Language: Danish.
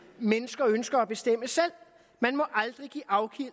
mennesker ønsker at bestemme selv man må aldrig give afkald